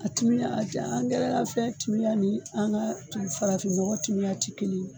A timiya a ti angɛrɛ la fɛn timiya nin an ka tu farafin nɔgɔ timiya ti kelen ye